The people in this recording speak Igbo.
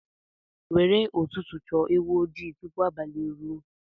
Were ụtụtụ chọọ ewu ojii tupu abalị ruo.